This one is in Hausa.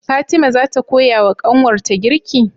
Fatima zata koya wa kanwar ta girki?